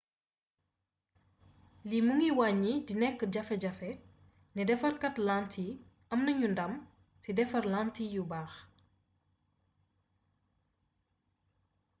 lii mi ngi wàññi di nekk jafe jafe ne defarkaat lantiy am nanu ndam ci defar lantiy yu baax